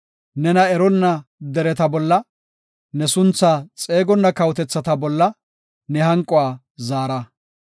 Nena eronna dereta bolla, ne sunthaa xeegonna kawotethata bolla ne hanquwa zaara.